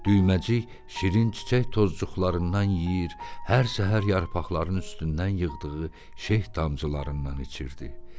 Düyməcik şirin çiçək tozcuqlarından yeyir, hər səhər yarpaqların üstündən yığdığı şeh damcılarından içirdi.